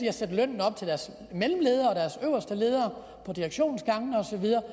at sætte lønnen op til deres mellemledere og deres øverste ledere på direktionsgangene og så videre